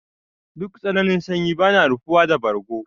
Duk tsananin sanyi bana rufuwa da bargo.